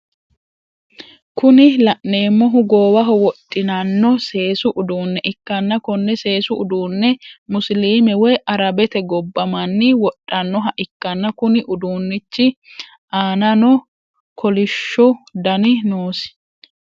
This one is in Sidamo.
Kuni laneemmohu goowaho wodhinano seesu uduunne ikkanna konne seesu uduunne musilime woyi arabete gobba manni wodhanoha ikkanna Kuni uduunnichi anano kolishu Dani noosi